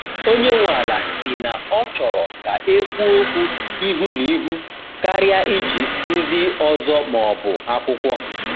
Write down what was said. Onye nwe ala si na ọ chọrọ ka ekwuo okwu ihu na ihu karịa iji ndị ọzọ ma ọ bụ akwụkwọ.